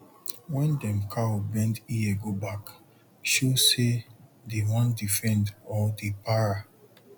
wen dem cow bend ear go back show say dey wan defend or dey para